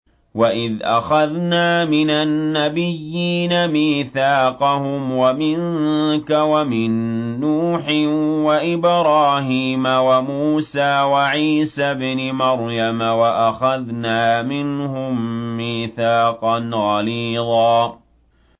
وَإِذْ أَخَذْنَا مِنَ النَّبِيِّينَ مِيثَاقَهُمْ وَمِنكَ وَمِن نُّوحٍ وَإِبْرَاهِيمَ وَمُوسَىٰ وَعِيسَى ابْنِ مَرْيَمَ ۖ وَأَخَذْنَا مِنْهُم مِّيثَاقًا غَلِيظًا